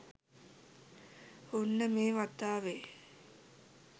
ඔන්න මේ වතාවෙ